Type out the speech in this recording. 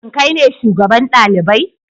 Shin kai ne shugaban dalibai?